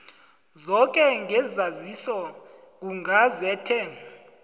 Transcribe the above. zoke ngesaziso kugazethe